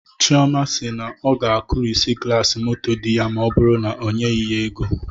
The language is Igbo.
Chioma si na ọ ga-akụrịsị glasi moto di ya ma ọ bụrụ na o nyeghị ya ego